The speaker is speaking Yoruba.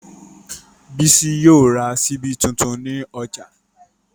Bísí yóò ra ṣíbí tuntun ní ọjà